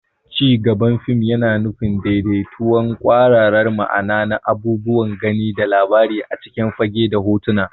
Cigaban fim yana nufin daidaitattun kwararar ma'ana na abubuwan gani da labari a cikin fage da hotuna.